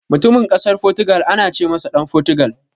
Mutumin Ƙasar Fotugal ana ce masa Ɗan Fotugal.